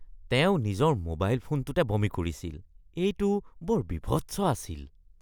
তেওঁ নিজৰ মোবাইল ফোনটোতে বমি কৰিছিল। এইটো বৰ বীভৎস আছিল।